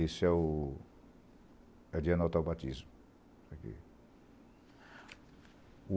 Esse é o... é de anotar o batismo. Aquim